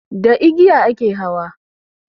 Da igiya a ke hawa